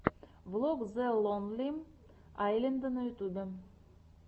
влог зе лонли айленда на ютубе